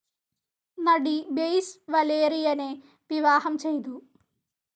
നടി ബൈസ് വലേറിയനെ വിവാഹം ചെയ്തു.